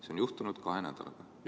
See on juhtunud kahe nädalaga.